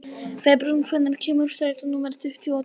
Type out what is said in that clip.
Febrún, hvenær kemur strætó númer tuttugu og tvö?